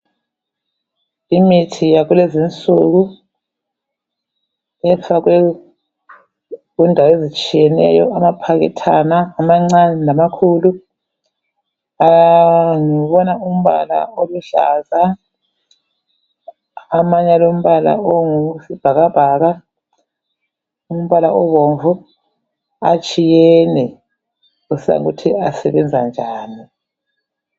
Imithi yakulezinsuku ifakwe kundawo ezitshiyeneyo amaphakethana amancane lamakhulu. Ngibona umbala oluhlaza amanye alombala ongowesibhakabhaka, umbala obomvu, atshiyene kusiya ngokuthi asebenza njani.